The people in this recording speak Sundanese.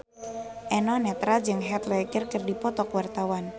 Eno Netral jeung Heath Ledger keur dipoto ku wartawan